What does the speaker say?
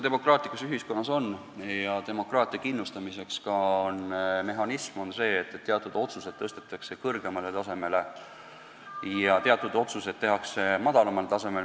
Demokraatlikus ühiskonnas on demokraatia kindlustamiseks ka selline mehhanism, et teatud otsused tõstetakse kõrgemale tasemele ja teatud otsused tehakse madalamal tasemel.